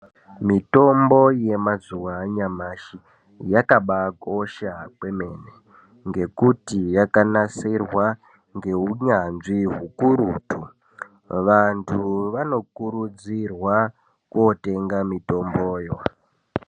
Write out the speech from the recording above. Mitombo yemazuwa anyamashi yakabakosha kwemene ngekuti yakanasirwa ngeunyanzvi hukurutu, vantu vanokurudzirwa kotenga mitombo yo.